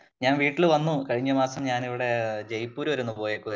ഞാൻ വീട്ടില് വന്നു കഴിഞ്ഞ മാസം ഞാൻ ജയ്പൂർ വരെ പോയേക്കുവായിരുന്നു